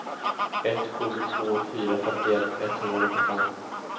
ett sju två fyra femtioett etthundranittiofem